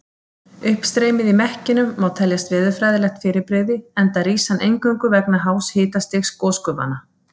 Uppstreymið í mekkinum má teljast veðurfræðilegt fyrirbrigði enda rís hann eingöngu vegna hás hitastigs gosgufanna.